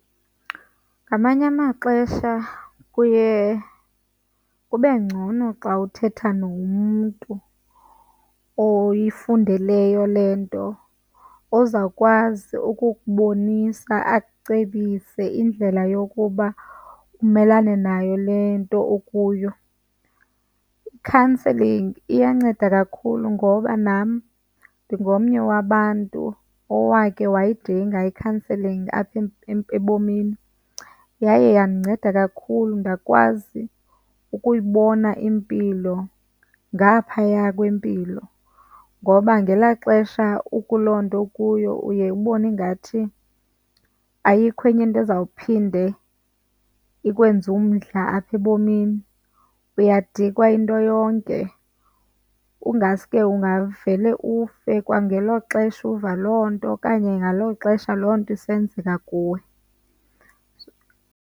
Ngamanye amaxesha kuye kube ngcono xa uthetha nomntu oyifundeleyo le nto ozawukwazi ukukubonisa, akucebise indlela yokuba umelane nayo le nto ukuyo. I-counselling iyanceda kakhulu ngoba nam ndingomnye wabantu owakhe wayidinga i-counselling apha ebomini. Yaye yandinceda kakhulu ndakwazi ukuyibona impilo ngaphaya kwempilo ngoba ngelaa xesha ukuloo nto ukuyo uye ubone ingathi ayikho enye into uzawuphinde ikwenze umdla apha ebomini, uyadikwa yinto yonke. Kungaske ungavele ufe kwangelo xesha uva loo nto okanye ngalo xesha loo nto isenzeka kuwe.